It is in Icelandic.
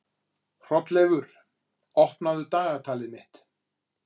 Hrolleifur, opnaðu dagatalið mitt.